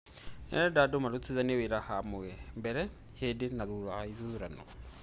Nĩarenda andũ marutithanie wĩra hamwe mbere, hĩndĩ na thutha wa ithurano.